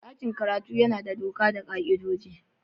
Dakin karatu yana da doka da ka''idoji.